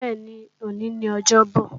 Bẹ́ẹ̀ni, òní ni ọjọ́bò